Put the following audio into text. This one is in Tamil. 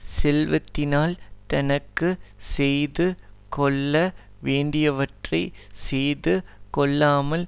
செல்வத்தினால் தனக்கு செய்து கொள்ள வேண்டியவற்றை செய்து கொள்ளாமல்